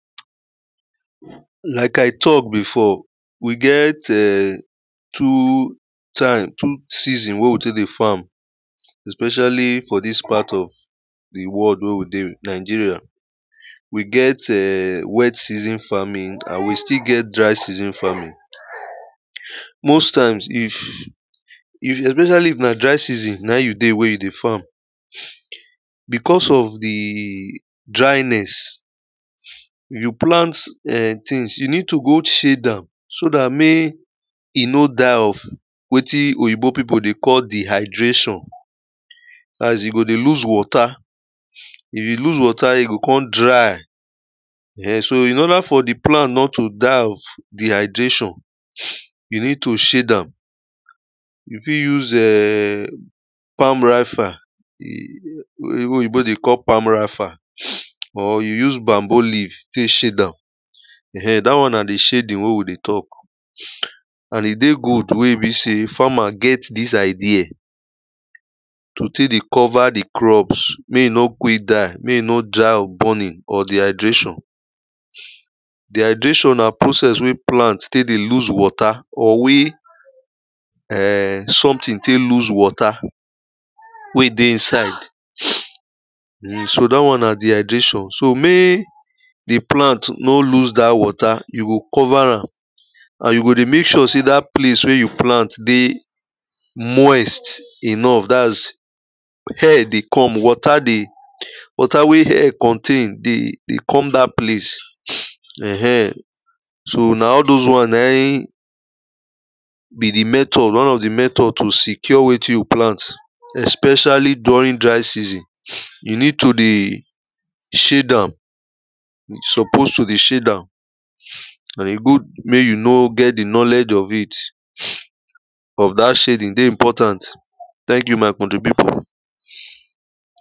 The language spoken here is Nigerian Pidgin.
Like I talk before, we get um two time, two season wey we dey farm, especially for this part of the world wey we dey, Nigeria. We get um wet season farming and we still get dry season farming. Most times, if especially if na dry season na you dey, where you dey farm, because of the dryness, you plant things, you need to go shade am, so that make e no die off, wetin oyibo people dey call dehydration. That's e go dey lose water. If e lose water, e go come dry. So in order for the plant not to die of dehydration, you need to shade am. You fit use palm rafter, wey wey oyibo dey call palm rafter, or you use bamboo leaf to shade am. That one na the shading wey we dey talk. And e dey good wey be say farmer get this idea to take dey cover the crops make e no quick die, make e no die of burning or dehydration. Dehydration na process wey plant still dey lose water, or wey um something take lose water wey dey inside. um So that one na dehydration. So, make the plant no lose that water, you go cover am. And you go dey make sure say that place where you plant dey moist enough, that's air dey come, water dey, water wey air contain dey, dey come that place. um So, na all those one naim be the method, one of the method to secure wetin you plant, especially during dry season. You need to dey shade am. you supposed to dey shade am, and e good make you know get the knowledge of it. of That shading dey important. Thank you my country people.